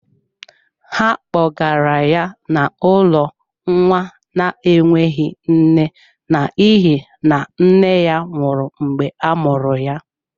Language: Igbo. Ha kpogara ya n’ụlọ nwa na-enweghị nne n’ihi na nne ya nwụrụ mgbe a mụrụ ya.